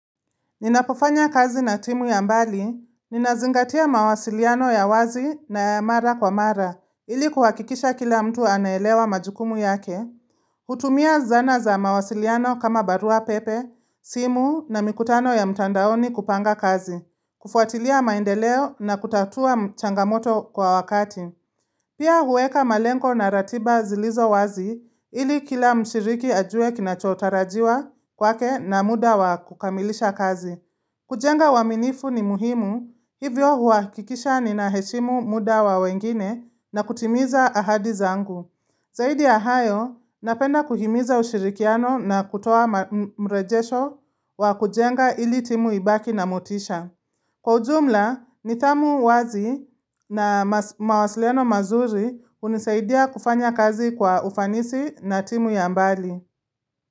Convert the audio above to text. Ninapofanya kazi na timu ya mbali, ninazingatia mawasiliano ya wazi na ya mara kwa mara, ili kuhakikisha kila mtu anaelewa majukumu yake. Hutumia zana za mawasiliano kama barua pepe, simu na mikutano ya mtandaoni kupanga kazi. Kufuatilia maendeleo na kutatua changamoto kwa wakati. Pia huweka malengo na ratiba zilizo wazi ili kila mshiriki ajue kinachotarajiwa kwake na muda wa kukamilisha kazi. Kujenga uaminifu ni muhimu hivyo huakikisha ninaheshimu muda wa wengine na kutimiza ahadi zangu. Zaidi ya hayo, napenda kuhimiza ushirikiano na kutoa mrejesho wa kujenga ili timu ibaki na motisha. Kwa ujumla, nidhamu wazi na mawasiliano mazuri unisaidia kufanya kazi kwa ufanisi na timu ya mbali.